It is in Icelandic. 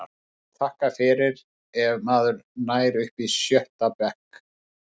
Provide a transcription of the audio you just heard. Maður má þakka fyrir ef maður nær upp í sjötta bekk.